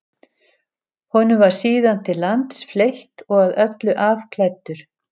Honum var síðan til lands fleytt og að öllu afklæddur.